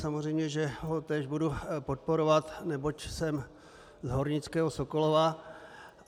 Samozřejmě že ho též budu podporovat, neboť jsem z hornického Sokolova.